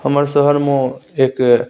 हमर शहर में एक --